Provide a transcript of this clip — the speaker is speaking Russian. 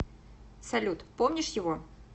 салют помнишь его